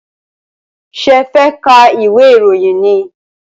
Ṣé ẹ fẹ́ ka ìwé ìròyìn ni?